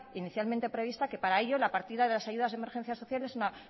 inicialmente prevista que para ellos la partida de las ayudas de emergencia social es una